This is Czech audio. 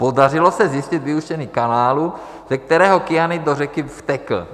Podařilo se zjistit vyústění kanálu, ze kterého kyanid do řeky vtekl.